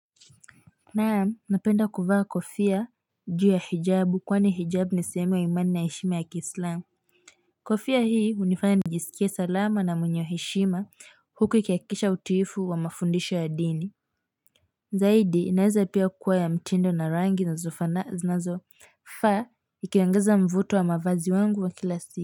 Naam napenda kuvaa kofia juu ya hijabu kwani hijabu ni sehemu ya imani na heshima ya kiislamu kofia hii hunifanya nijisikie salama na mwenye heshima huku ikihakikisha utiifu wa mafundisho ya dini zaidi inaeza pia kuwa ya mtindo na rangi zinazofaa ikiongeza mvuto wa mavazi wangu wa kila siku.